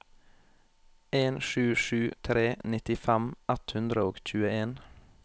en sju sju tre nittifem ett hundre og tjueen